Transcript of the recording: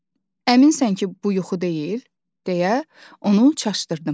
"Əminsən ki, bu yuxu deyil?" deyə onu çaşdırdım.